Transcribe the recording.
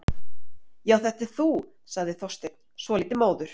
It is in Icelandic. Já, þetta ert þú- sagði Þorsteinn, svolítið móður.